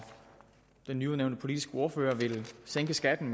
den nyudnævnte politiske ordfører ville sænke skatten